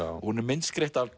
hún er myndskreytt af